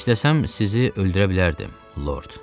İstəsəm sizi öldürə bilərdim, Lord.